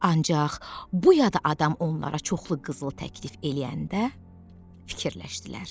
Ancaq bu yada adam onlara çoxlu qızıl təklif eləyəndə fikirləşdilər.